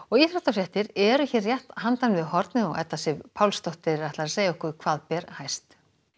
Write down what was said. íþróttafréttir eru hér rétt handan við hornið og Edda Sif Pálsdóttir ætlar að segja okkur hvað ber hæst